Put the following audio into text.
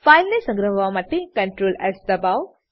ફાઈલને સંગ્રહવા માટે CtrlS દબાવો